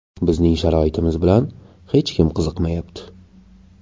Bizning sharoitimiz bilan hech kim qiziqmayapti.